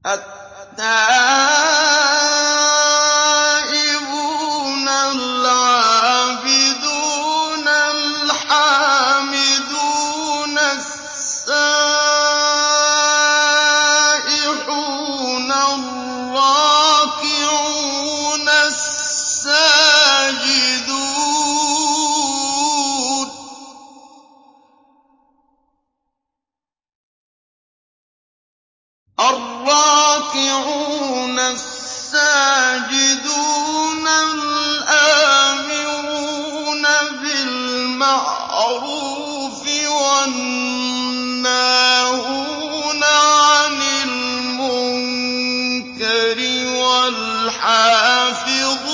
التَّائِبُونَ الْعَابِدُونَ الْحَامِدُونَ السَّائِحُونَ الرَّاكِعُونَ السَّاجِدُونَ الْآمِرُونَ بِالْمَعْرُوفِ وَالنَّاهُونَ عَنِ الْمُنكَرِ وَالْحَافِظُونَ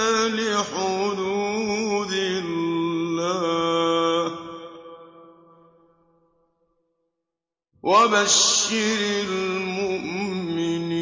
لِحُدُودِ اللَّهِ ۗ وَبَشِّرِ الْمُؤْمِنِينَ